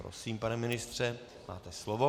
Prosím, pane ministře, máte slovo.